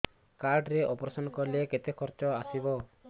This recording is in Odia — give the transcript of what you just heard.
କାର୍ଡ ରେ ଅପେରସନ କଲେ କେତେ ଖର୍ଚ ଆସିବ